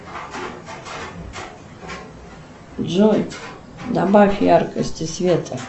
джой добавь яркости света